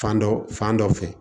Fan dɔ fan dɔ fɛ